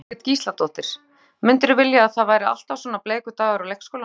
Jóhanna Margrét Gísladóttir: Myndirðu vilja að það væri alltaf svona bleikur dagur á leikskólanum?